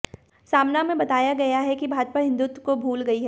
सामना में बताया गया है की भाजपा हिंदुत्व को भूल गई है